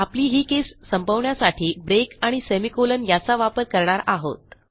आपली ही केस संपवण्यासाठी ब्रेक आणि सेमी कोलन याचा वापर करणार आहोत